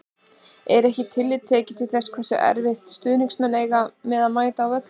Er ekkert tillit tekið til þess hversu erfitt stuðningsmenn eiga með að mæta á völlinn?